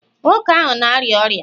nwoke ahụ na-arịa ọrịa